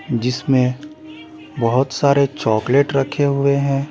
जिसमें बहुत सारे चॉकलेट रखे हुए हैं ।